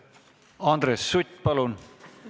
Andres Sutt, palun!